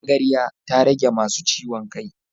Magarya ta rage masu ciwon kai.